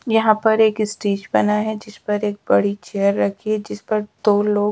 यहाँ पर एक स्टेज बना है जिस पर एक बड़ी चेयर रखी है जिस पर दो लोग--